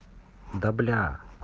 да блядь